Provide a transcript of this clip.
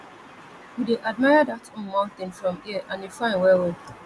we dey admire dat um mountain from hear and e fine wellwell